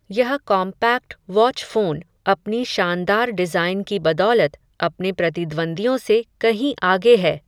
यह compact watch phone, अपनी शानदार डिज़ाइन की बदौलत, अपने प्रतिद्वंदियों से कहीं आगे है